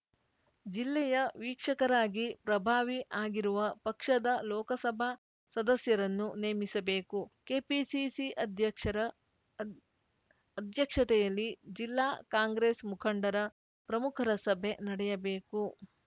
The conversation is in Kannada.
ಜಿಲ್ಲೆಯ ವಿಕ್ಷಕರಾಗಿ ಪ್ರಭಾವಿ ಆಗಿರುವ ಪಕ್ಷದ ಲೋಕಸಭಾ ಸದಸ್ಯರನ್ನು ನೇಮಿಸಬೇಕು ಕೆಪಿಸಿಸಿ ಅಧ್ಯಕ್ಷರ ಅದ್ ಅಧ್ಯಕ್ಷತೆಯಲ್ಲಿ ಜಿಲ್ಲಾ ಕಾಂಗ್ರೆಸ್‌ ಮುಖಂಡರ ಪ್ರಮುಖರ ಸಭೆ ನಡೆಯಬೇಕು